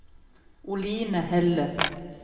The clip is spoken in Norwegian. Oline Helle